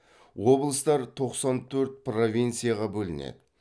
облыстар тоқсан төрт провинцияға бөлінеді